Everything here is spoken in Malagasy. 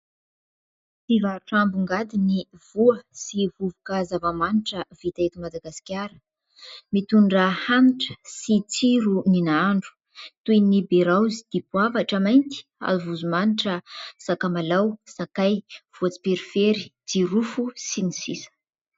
Mpivarotra ambongadiny voa sy vovoka zava-manitra vita eto Madagasikara. Mitondra hanitra sy tsiro ny nahandro toy ny beraozy, dipoavatra mainty, avozo manitra, sakamalao, sakay, voatsiperifery, jirofo sy ny sisa.